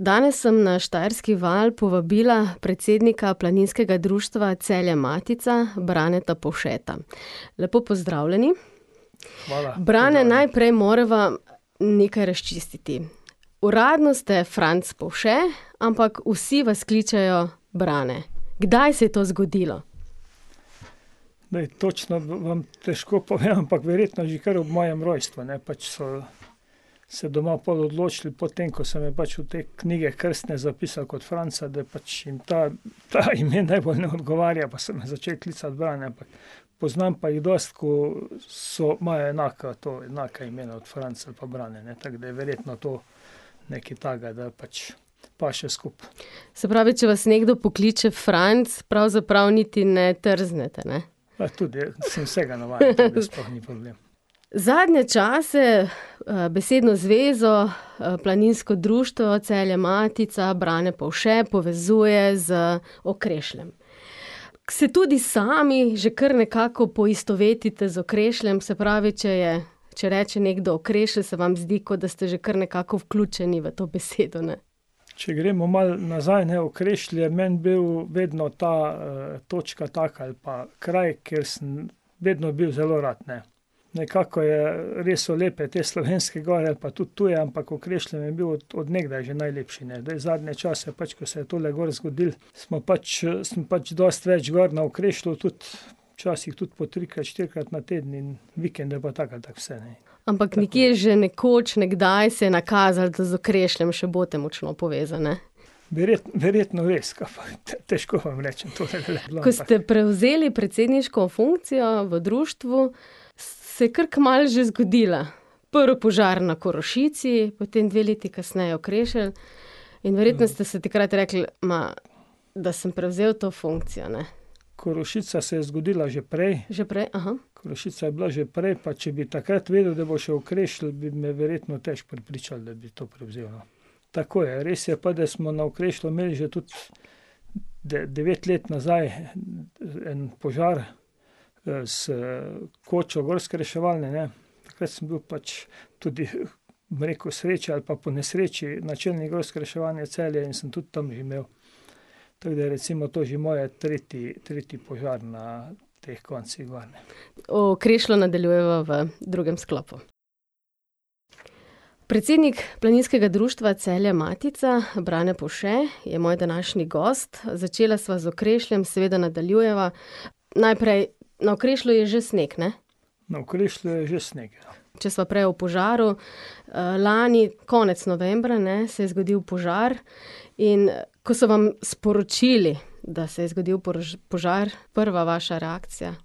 Danes sem na Štajerski val povabila predsednika Planinskega društva Celje Matica, Braneta Povšeta. Lepo pozdravljeni. Hvala. Brane, najprej morava nekaj razčistiti. Uradno ste Franc Povše, ampak vsi vas kličejo Brane. Kdaj se je to zgodilo? točno vam težko povem, ampak verjetno že kar ob mojem rojstvu, ne, pač so se doma pol odločili, potem ko so me pač v te knjige krstne zapisali kot Franca, da pač jim ta, to ime najbolj ne odgovarja pa so me začeli klicati Brane, ampak poznam pa jih dosti, ko so, imajo enaka to, enako ime od Franc ali pa Brane, ne, tako da je verjetno to nekaj takega, da pač paše skupaj. Se pravi, če vas nekdo pokliče Franc, pravzaprav niti ne trznete, ne? Pa tudi, sem vsega navajen, tako da sploh ni problem. Zadnje čase, besedno zvezo, Planinsko društvo Celje Matica, Brane Povše povezuje z Okrešljem. Se tudi sami že kar nekako poistovetite z Okrešljem, se pravi, če je, če reče nekdo Okrešelj, se vam zdi, kot da ste že kar nekako vključeni v to besedo, ne. Če gremo malo nazaj, ne, Okrešelj je meni bil vedno ta, točka taka ali pa kraj, kjer sem vedno bil zelo rad, ne. Nekako je, res so lepe te slovenske gore ali pa tudi tuje, ampak Okrešelj mi je bil od, od nekdaj že najlepši, ne, zdaj zadnje čase pač ko se je tule gor zgodilo smo pač, sem pač dosti več gor na Okrešlju, tudi včasih tudi po trikrat, štirikrat na teden in vikende pa tako ali tako vse, ne. Ampak nekje že nekoč, nekdaj se je nakazalo, da z Okrešljem še boste močno povezani, ne. verjetno res, kaj pa vem, težko vam rečem . Ko ste prevzeli predsedniško funkcijo v društvu, se je kar kmalu že zgodila. Prvi požar na Korošici, potem dve leti kasneje Okrešelj in verjetno ste si takrat rekli: "Ma, da sem prevzel to funkcijo, ne." Korošica se je zgodila že prej. Že prej? Korošica je bila že prej, pa če bi takrat vedel, da bo še Okrešelj, bi me verjetno težko prepričal, da bi to prevzel, no. Tako je, res je pa, da smo na Okrešlju imel že tudi devet let nazaj en požar, s kočo gorske reševalne, ne. Takrat sem bil pač tudi, bom rekel, sreča ali pa po nesreči, načelnik gorske reševalne Celje in sem tudi tam imel, tako da recimo to že moj tretji, tretji požar na teh koncih gor, ne. O Okrešlju nadaljujeva v drugem sklopu. Predsednik Planinskega društva Celje Matica, Brane Povše, je moj današnji gost. Začela sva z Okrešljem, seveda nadaljujeva. Najprej, na Okrešlju je že sneg, ne? Na Okrešlju je že sneg, ja. Če sva prej o požaru, lani konec novembra, ne, se je zgodil požar. In ... ko so vam sporočili, da se je zgodil požar, prva vaša reakcija?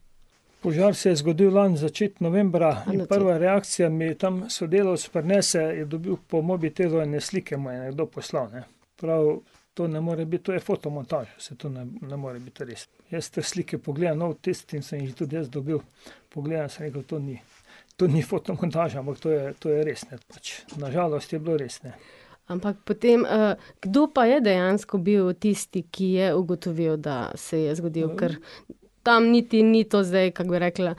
Požar se je zgodil lani, začetek novembra. Prva reakcija, mi tam sodelavec prinese, je dobil po mobitelu ene slike, mu je nekdo poslal, ne. Pravi: "To ne more biti, to je fotomontaža, saj to ne more biti res." Jaz te slike pogledam, no, v tistem sem jih tudi jaz dobil, pogledam, sem rekel: "To ni, to ni fotomontaža, ampak to je, to je res, ne." Pač, na žalost je bilo res, ne. Ampak potem, kdo pa je dejansko bil tisti, ki je ugotovil, da se je zgodilo, ker ... Tam niti ni to zdaj, kako bi rekla,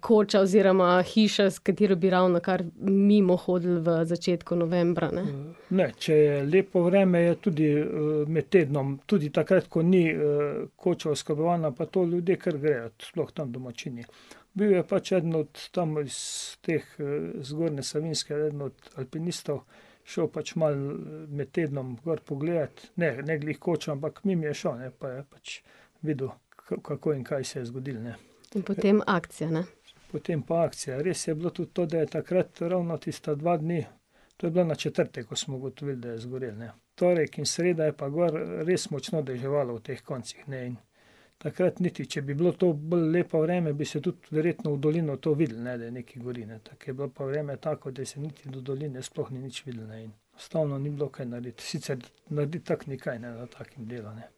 koča, oziroma hiša, s katero bi ravnokar mimo hodili v začetku novembra, ne. Ne, če je lepo vreme, je tudi, med tednom, tudi takrat, ko ni, koča oskrbovana, pa to ljudje kar grejo, sploh tam domačini. Bil je pač eden od tam, iz teh, Zgornje Savinjske, eden od alpinistov, šel pač malo med tednom gor pogledat, ne, ne glih kočo, ampak mimo je šel pa je pač videl, kako in kaj se je zgodilo, ne. In potem akcija, ne? Potem pa akcija. Res je bilo tudi to, da je takrat ravno tista dva dni, to je bila na četrtek, ko smo ugotovili, da je zgorel, ne, torek in sreda je pa gor res močno deževalo v teh koncih, ne, in takrat niti, če bi bilo to bolj lepo vreme, bi se tudi verjetno v dolino to videlo, ne, da nekaj gori, ne, tako je bilo pa vreme tako, da se niti do doline sploh ni nič videlo, ne, in enostavno ni bilo kaj narediti, sicer narediti tako ni kaj, ne, na takem delu, ne.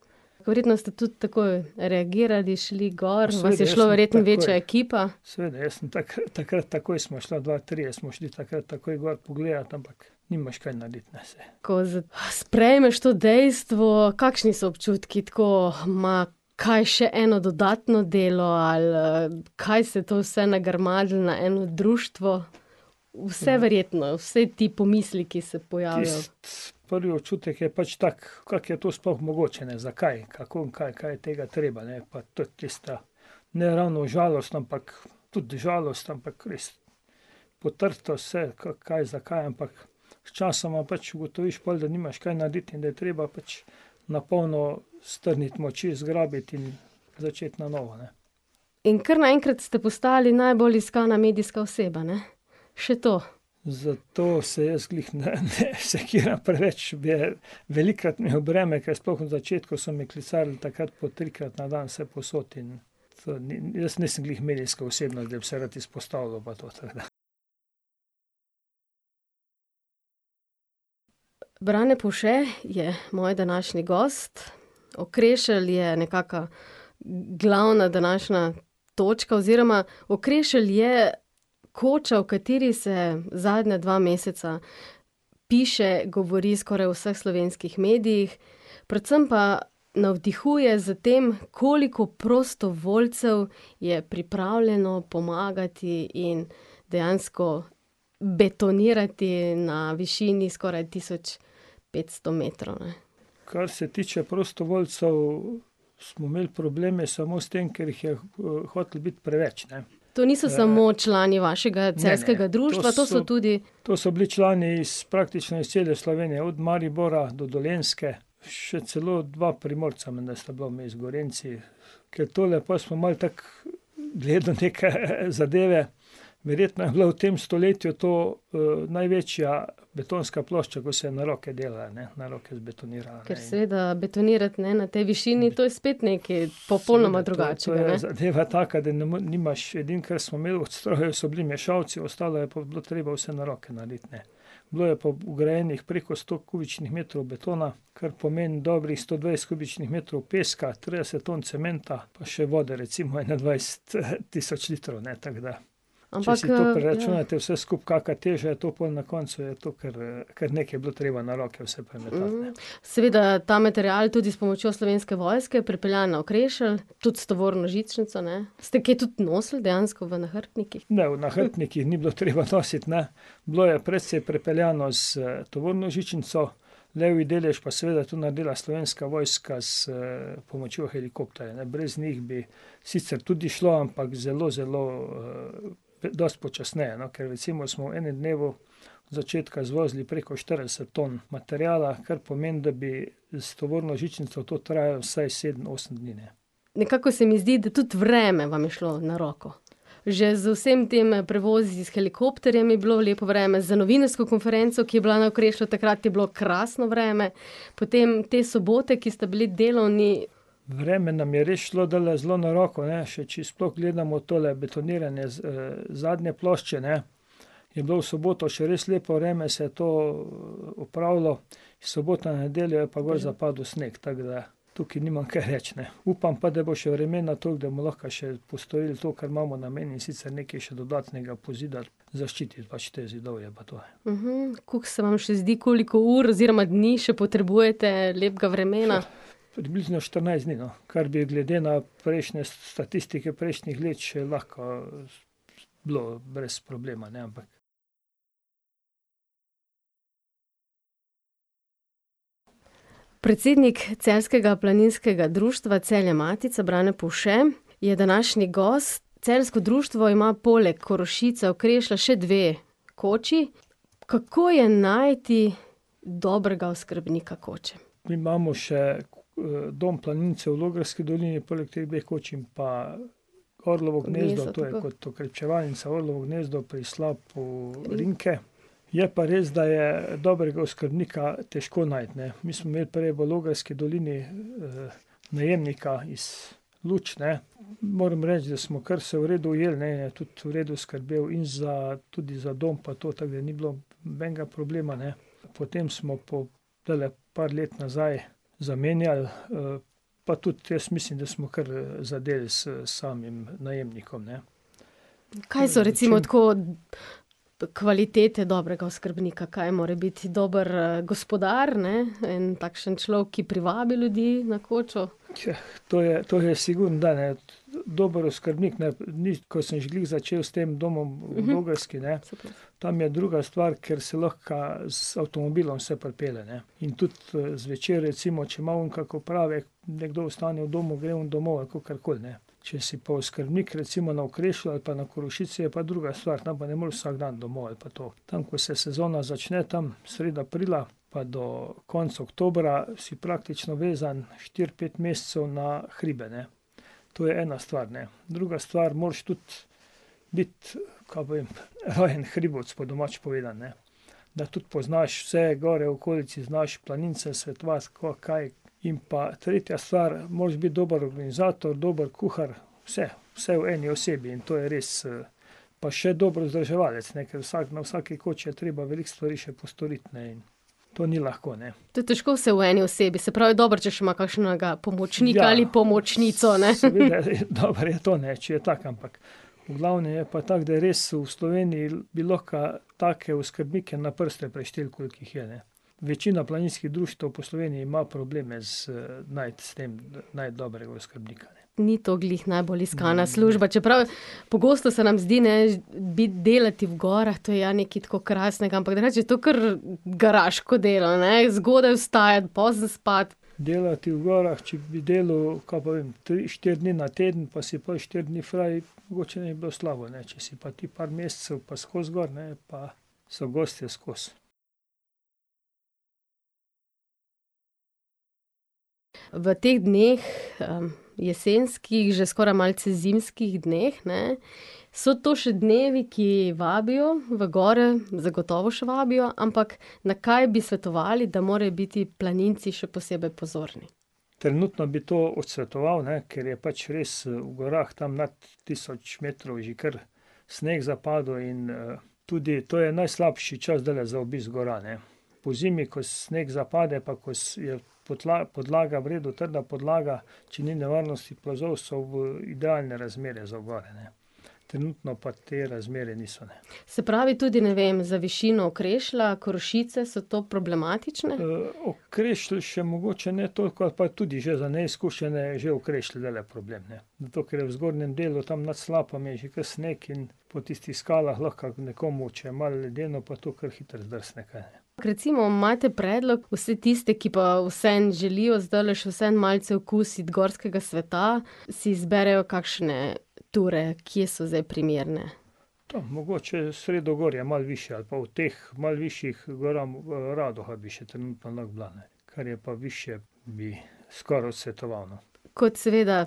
Verjetno ste tudi takoj reagirali, šli gor, vas je šlo verjetno večja ekipa. Seveda, jaz sem takrat takoj sva šla, dva, trije smo šli takrat takoj gor pogledat, ampak nimaš kaj narediti, ne. Ko sprejmeš tu dejstvo, kakšni so občutki tako, ma, kaj še eno dodatno delo ali, kaj se je vse to nagrmadilo na eno društvo? Vse verjetno, vsaj ti pomisleki se pojavijo. Tisti prvi občutek je pač tak, kako je to sploh mogoče, ne, zakaj, kako, kaj je tega treba, ne, to je tisto, ne ravno žalostno, ampak, tudi žalost, ampak res, kaj, zakaj, ampak sčasoma pač ugotoviš pol, da nimaš kaj narediti in da je treba pač na polno strniti moči, zgrabiti in začeti na novo, ne. In kar naenkrat ste postali najbolj iskana medijska oseba, ne? Še to. Za to se jaz glih ne sekiram preveč, bi, velikokrat mi v breme, ker sploh na začetku so me klicali takrat po trikrat na dan vsepovsod in ... Jaz nisem glih medijska osebnost, da bi se rad izpostavljal pa to, tako da. Brane Povše je moj današnji gost. Okrešelj je nekaka glavna današnja točka oziroma Okrešelj je koča, o kateri se zadnja dva meseca piše, govori v skoraj vseh slovenskih medijih, predvsem pa navdihuje s tem, koliko prostovoljcev je pripravljeno pomagati in dejansko betonirati na višini skoraj tisoč petsto metrov, ne. Kar se tiče prostovoljcev, smo imeli probleme samo s tem, ker jih je, hotelo biti preveč, ne. To niso samo člani vašega celjskega društva, to so tudi ... To so bili člani iz, praktično iz cele Slovenije, od Maribora do Dolenjske, še celo dva Primorca menda sta bila vmes, Gorenjci, ker tole pol smo malo tako, gledali neke zadeve, verjetno je bila v tem stoletju to, največja betonska plošča, ko se je na roke delala, ne, na roke zbetonirala, ne. Ker seveda betonirati, ne, na tej višini, to je spet nekaj ... Popolnoma drugačnega. Seveda, to, to je zadeva ... Zadeva taka, da ne nimaš, edino, kar smo imeli od strojev, so bili mešalci, ostalo je pa bilo treba vse na roke narediti, ne. Bilo je pa vgrajenih preko sto kubičnih metrov betona, kar pomeni dobrih sto dvajset kubičnih metrov peska, trideset ton cementa pa še vode recimo ene dvajset tisoč litrov, ne, tako da. Ampak, ... Če si to preračunate vse skupaj, kaka teža je to pol na koncu, je to kar, kar nekaj bilo treba na roke vse premetati, ne. Seveda ta material, tudi s pomočjo Slovenske vojske, pripeljan na Okrešelj, tudi s tovorno žičnico, ne? Ste kaj tudi nosili dejansko v nahrbtnikih? Ne, v nahrbtnikih ni bilo treba nositi, ne. Bilo je precej pripeljano s tovorno žičnico, levji delež pa je seveda tudi naredila Slovenska vojska s pomočjo helikopterja, ne, brez njih bi sicer tudi šlo, ampak zelo, zelo, dosti počasneje, no, ker recimo smo v enem dnevu začetka zvozili preko štirideset ton materiala, kar pomeni, da bi s tovorno žičnico to trajalo vsaj sedem, osem dni, ne. Nekako se mi zdi, da tudi vreme vam je šlo na roko. Že z vsemi temi prevozi s helikopterjem je bilo vreme, z novinarsko konferenco, ki je bila na Okrešlju takrat, je bilo krasno vreme, potem ti soboti, ki sta bili delovni ... Vreme nam je res šlo zdajle zelo na roko, ne, še če sploh gledamo tole betoniranje z, zadnje plošče, ne, je bilo v soboto še res lepo vreme, se to, opravilo, iz sobote na nedeljo je pa gor zapadel sneg, tako da. Tukaj nimam kaj reči, ne, upam pa, da bo še vremena toliko, da bomo lahko še postorili to, kar imamo namen, in sicer nekaj še dodatnega pozida, zaščititi pač to zidovje pa to, ne. kako se vam še zdi koliko ur oziroma dni še potrebujete lepega vremena? Približno štirinajst dni, no, kar bi glede na prejšnje statistike prejšnjih let še lahko bilo brez problema, ne, ampak ... Predsednik celjskega planinskega društva, Celje Matica, Brane Povše, je današnji gost. Celjsko društvo ima poleg Korošice, Okrešlja še dve koči. Kako je najti dobrega oskrbnika koče? Mi imamo še, Dom planincev v Logarski dolini poleg teh dveh koč in pa Orlovo gnezdo, to je kot okrepčevalnica, Orlovo gnezo pri slapu Rinke. Je pa res, da je dobrega oskrbnika težko najti, ne. Mi smo imeli prej v Logarski dolini, najemnika iz Luč, ne. Moram reči, da smo kar se v redu ujeli, ne, je tudi v redu skrbel in za, tudi za dom pa to, tako da ni bilo nobenega problema, ne. Potem smo po , par let nazaj zamenjali, pa tudi jaz mislim, da smo kar zadeli s samim najemnikom, ne. Kaj so recimo tako kvalitete dobrega oskrbnika, kaj mora biti dober gospodar, ne, in takšen človek, ki privabi ljudi na kočo? to je, to je sigurno , ne. Dober oskrbnik, ne, ni, ko sem že glih začel s tem domom v Logarski, ne, tam je druga stvar, ker se lahko z avtomobilom se pripelje, ne, in tudi, zvečer recimo, če ima on kak opravek, nekdo ostane v domu, gre on domov ali kakorkoli, ne. Če si pa oskrbnik recimo na Okrešlju ali pa na Korošici, je pa druga stvar, tam pa ne moreš vsak dan domov ali pa to. Tam, ko se sezona začne, tam sredi aprila pa do konec oktobra, si praktično vezan štiri, pet mesecev na hribe, ne. To je ena stvar, ne. Druga stvar, moraš tudi biti, kaj pa vem, vajen hribovec po domače povedano, ne. Da tudi poznaš vse gore v okolici, znaš planincem svetovati, kako, kaj. In pa tretja stvar, moraš biti dober organizator, dober kuhar, vse, vse v eni osebi in to je res, ... Pa še dober vzdrževalec, ne, ker vsak, na vsaki koči je treba veliko stvari še postoriti, ne, in to ni lahko, ne. To je težko vse v eni osebi, se pravi, je dobro, če še ima kakšnega pomočnika ali pomočnico, ne . Ja, seveda. Dobro je to, ne, če je tak, ampak v glavnem je pa tako, da res v Sloveniji bi lahko take oskrbnike na prste prešteli, koliko jih je, ne. Večina planinskih društev po Sloveniji ima probleme s, najti s tem, najti dobrega oskrbnika, ne. Ni to glih najbolj iskana služba, čeprav pogosto se nam zdi, ne, biti, delati v gorah, to je ja nekaj tako krasnega, ampak drugače je to kar garaško delo, ne, zgodaj vstajati, pozno spati. Delati v gorah, če bi delal, kaj pa vem, tri, štiri dni na teden pa si pol štiri dni fraj, mogoče ne bi bilo slabo, ne, če si pa ti par mesecev pa skozi gor, ne, je pa, so gostje skozi. V teh dneh, jesenskih, že skoraj malce zimskih dneh, ne, so to še dnevi, ki vabijo v gore, zagotovo še vabijo, ampak na kaj bi svetovali, da morajo biti planinci še posebej pozorni? Trenutno bi to odsvetoval, ne, ker je pač res v gorah tam nad tisoč metrov že kar sneg zapadel in, tudi to je najslabše čas zdajle za obisk gora, ne. Pozimi, ko sneg zapade pa ko je, podlaga v redu trda podlaga, če ni nevarnosti plazov so v, idealne razmere v gore, ne. Trenutno pa te razmere niso, ne. Se pravi tudi, ne vem, za višino Okrešlja, Korošice so to problematične? Okrešelj še mogoče ne toliko ali pa tudi že za neizkušene je že Okrešelj zdajle problem, ne, zato ker je v zgornjem delu tam nad slapom je že kar sneg in po tistih skalah lahko nekomu, če je malo ledeno pa to, kar hitro zdrsne. Recimo imate predlog, vse tiste, ki pa vseeno želijo zdajle še vseeno malce okusiti gorskega sveta, si izberejo kakšne ture, kje so zdaj primerne? Tam mogoče sredogorje, malo višje, ali pa v teh malo višjih gorah, Radoha bi še trenutno lahko bila, ne. Kar je pa višje, bi skoraj odsvetoval, no. Kot seveda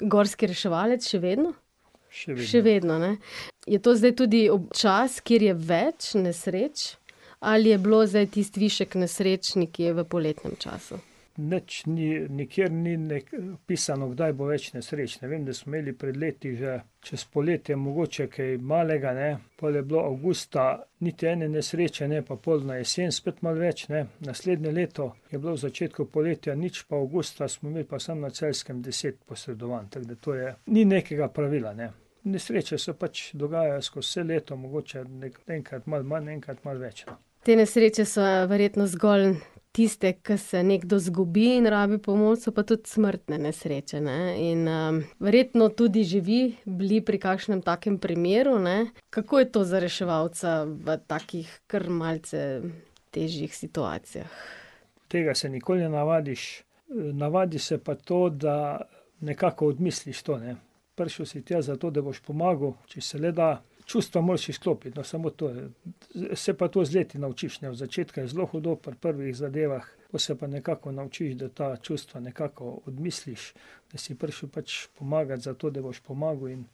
gorski reševalec še vedno? Še vedno, ne? Še vedno. Je to zdaj tudi čas, kjer je več nesreč? Ali je bilo zdaj tisti višek nesreč nekje v poletnem času? Nič ni, nikjer ni neki pisano, kdaj bo več nesreč. Vem, da smo imeli pred leti že čez poletje kaj malega, ne, pol je bilo avgusta niti ene nesreče, ne, pa pol na jesen spet malo več, ne. Naslednje leto je bilo v začetku poletja nič, pa avgusta smo imeli pa sam na Celjskem deset posredovanj. Tako da to je, ni nekega pravila, ne. Nesreče se pač dogajajo skozi vse leto, mogoče enkrat malo manj, enkrat malo več. Te nesreče so verjetno zgolj tiste, ke se nekdo izgubi in rabi pomoč, so pa tudi smrtne nesreče, ne, in, verjetno tudi že vi bili pri kakšnem takem primeru, ne. Kako je to za reševalca v takih kar malce težjih situacijah? Tega se nikoli ne navadiš. navadiš se pa to, da nekako odmisliš to, ne. Prišel si tja zato, da boš pomagal, če se le da, čustva moraš izklopiti, no, samo to. Se pa to z leti naučiš, ne, od začetka je zelo hudo pri prvih zadevah, ko se pa nekako naučiš, da ta čustva nekako odmisliš, da si prišel pač pomagat zato, da boš pomagal, in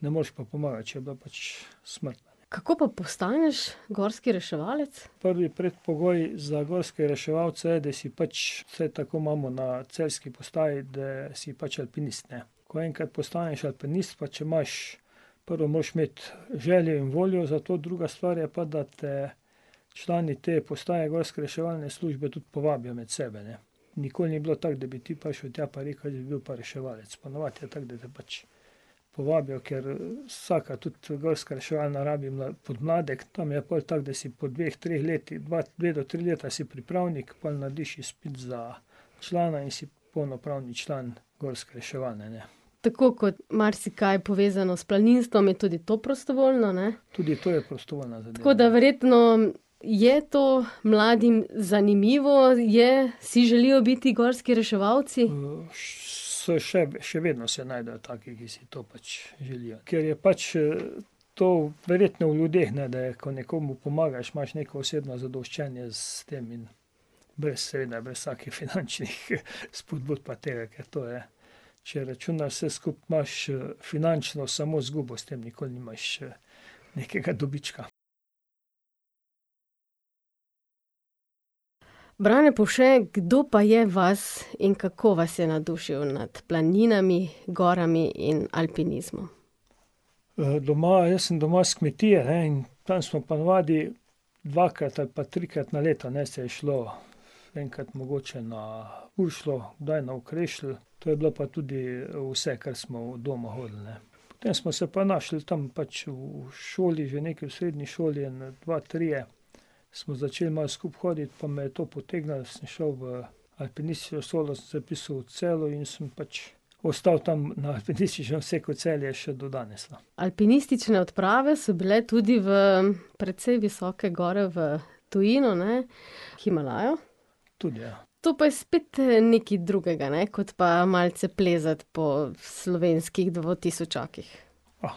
ne moreš pa pomagati, če je bila pač smrtna, ne. Kako pa postaneš gorski reševalec? Prvi predpogoj za gorskega reševalca je, da si pač, vsaj tako imamo na celjski postaji, da si pač alpinist, ne. Ko enkrat postaneš alpinist pa če imaš, prvo moraš imeti željo in voljo za to, druga stvar je pa, da te člani te postaje gorske reševalne službe tudi povabijo med sebe, ne. Nikoli ni bilo tako, da bi ti prišel tja pa rekel: "Jaz bi bil pa reševalec." Ponavadi je tako, da te pač povabijo, ker, vsaka, tudi gorska reševalna, rabi podmladek, tam je pol tako, da si po dveh, treh letih, dve do tri leta si pripravnik, pol narediš izpit za člana in si polnopravni član gorske reševalne, ne. Tako kot marsikaj povezano s planinstvom, je tudi to prostovoljno, ne? Tudi to je prostovoljna zadeva. Tako da verjetno je to mladim zanimivo, je, si želijo biti gorski reševalci? se še še vedno se najdejo taki, ki si to pač želijo, ker je pač, to verjetno v ljudeh, ne, da je, ko nekomu pomagaš, imaš neko osebno zadoščenje s tem in brez seveda, brez vsakih finančnih spodbud pa tega, ker to je, če računaš vse skupaj, imaš, finančno samo izgubo s tem, nikoli nimaš nekega dobička. Brane Povše, kdo pa je vas in kako vas je navdušil nad planinami, gorami in alpinizmom? doma. Jaz sem doma s kmetije, ne, in tam smo ponavadi dvakrat ali pa trikrat na leto, ne, se je šlo. Enkrat mogoče na , kdaj na Okrešelj, to je bilo pa tudi vse, kar smo od doma hodili, ne. Potem smo se pa našli tam pač v šoli, že nekaj v srednji šoli, ene dva, trije smo začeli malo skupaj hoditi pa me je to potegnilo, sem šel v alpinistično šolo, sem se vpisal v Celju in sem pač ostal tam na alpinističnem Celju še do danes, no. Alpinistične odprave so bile tudi v precej visoke gore v tujino, ne? Himalajo? Tudi, ja. To pa je spet nekaj drugega, ne, kot pa malce plezati po slovenskih dvatisočakih?